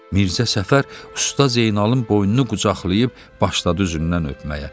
Mirzə Səfər Usta Zeynalın boynunu qucaqlayıb başladı üzündən öpməyə.